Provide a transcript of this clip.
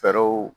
Fɛɛrɛw